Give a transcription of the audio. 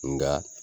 Nka